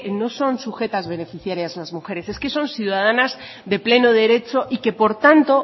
no son sujetas beneficiarias las mujeres es que son ciudadanas de pleno derecho y que por tanto